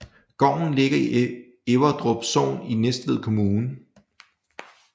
Gården ligger i Everdrup Sogn i Næstved Kommune